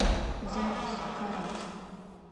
запись карат